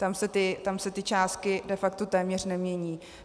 Tam se ty částky de facto téměř nemění.